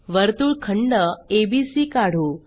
वर्तुळखंड A B C काढू